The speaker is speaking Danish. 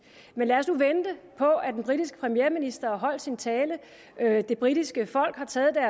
men lad os nu vente på at den britiske premierminister har holdt sin tale og at det britiske folk har taget